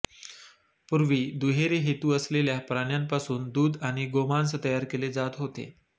पूर्वी दुहेरी हेतू असलेल्या प्राण्यांपासून दूध आणि गोमांस तयार केले जात होते